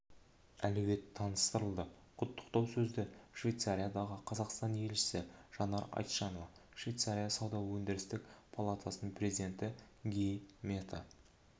әлеует таныстырылды құттықтау сөзді швейцариядағы қазақстан елшісі жанар айтжанова швейцария сауда-өндірістік палатасының президенті ги мета